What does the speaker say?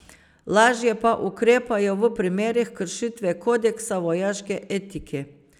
Lažje pa ukrepajo v primerih kršitve kodeksa vojaške etike.